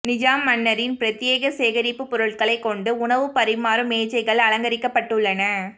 நிஜாம் மன்னரின் பிரத்யேக சேகரிப்பு பொருட்களைக் கொண்டு உணவு பரிமாறும் மேஜைகள் அலங்கரிக்கப்பட்டுள்ளன